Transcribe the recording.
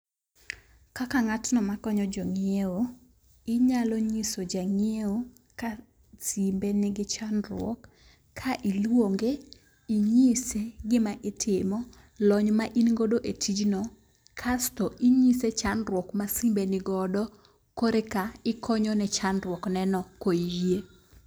Kaka ng'atno makonyo jong'iewo, inyalo nyiso jang'iewo ka simbe nigi chandruok ka iluonge, ing'ise gima itimo, lony ma in godo e tijno kasto inyise chandruok ma simbe nigodo kore ka ikonyone chandruok ne no koyie.